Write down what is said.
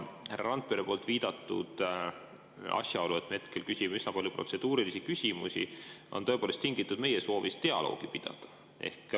Härra Randpere viidatud asjaolu, et me hetkel küsime üsna palju protseduurilisi küsimusi, on tõepoolest tingitud meie soovist dialoogi pidada.